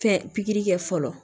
Fɛn pikiri kɛ fɔlɔ